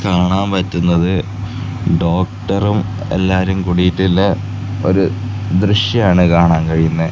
കാണാൻ പറ്റുന്നത് ഡോക്ടറും എല്ലാരും കൂടിയിട്ടുള്ള ഒരു ദൃശ്യാണ് കാണാൻ കഴിയുന്നേ.